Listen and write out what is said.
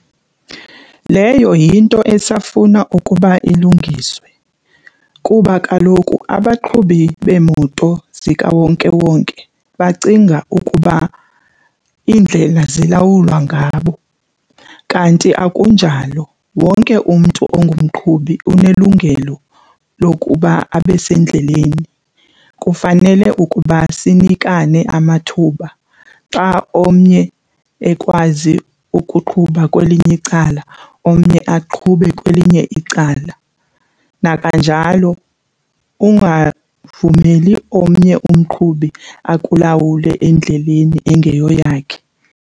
Leyo yinto esafuna ukuba ilungiswe kuba kaloku abaqhubi beemoto zikawonkewonke bacinga ukuba iindlela zilawulwa ngabo kanti akunjalo wonke umntu ungumqhubi unelungelo lokuba abe sendleleni. Kufanele ukuba sinikane amathuba xa omnye ekwazi ukuqhuba kwelinye icala omnye aqhube kwelinye icala, nakanjalo ungavumeli omnye umqhubi akulawule endleleni engeyoyakhe.